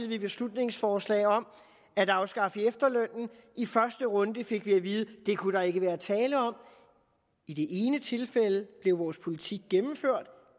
vi beslutningsforslag om at afskaffe efterlønnen i første runde fik vi at vide at det kunne der ikke være tale om i det ene tilfælde blev vores politik gennemført